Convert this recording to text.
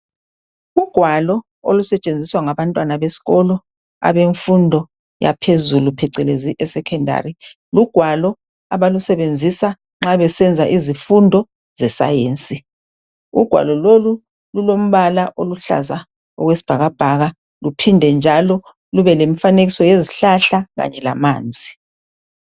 Ugwalo olusetshenziswa ngabantwana besikolo abemfundo yaphezulu phecelezi eSecondary. Lugwalo abalusebenzisa nxa besenza izifundo zescience. Ugwalo lolu lulombala oluhlaza okwesibhakabhaka luphinde njalo lube lemfanekiso yezihlahla kanye lamanzi.